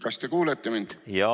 Kas te kuulete mind?